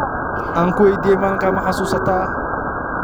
Aankuwediyex, maxasusata malinti?